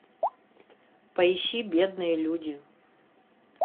поищи бедные люди